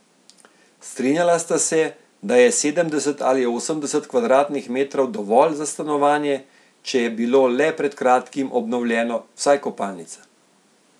Strinjala sta se, da je sedemdeset ali osemdeset kvadratnih metrov dovolj za stanovanje, če je bilo le pred kratkim obnovljeno, vsaj kopalnica.